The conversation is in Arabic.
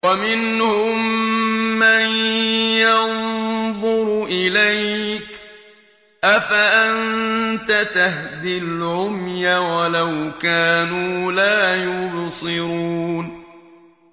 وَمِنْهُم مَّن يَنظُرُ إِلَيْكَ ۚ أَفَأَنتَ تَهْدِي الْعُمْيَ وَلَوْ كَانُوا لَا يُبْصِرُونَ